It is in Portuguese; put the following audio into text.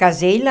Casei lá.